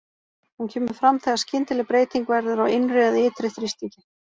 Hún kemur fram þegar skyndileg breyting verður á innri eða ytri þrýstingi.